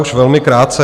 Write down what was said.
Už velmi krátce.